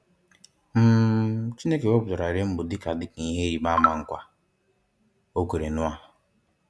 um Chineke wepụtara rainbow dịka dịka ihe ịrịbama nkwa o kwere Noah.